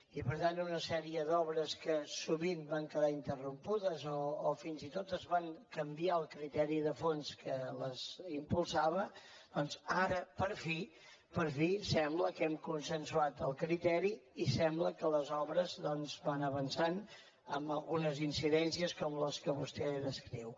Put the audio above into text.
i per tant una sèrie d’obres que sovint van quedar interrompudes o fins i tot es va canviar el criteri de fons que les impulsava doncs ara per fi per fi sembla que n’hem consensuat el criteri i sembla que les obres van avançant amb algunes incidències com les que vostè descriu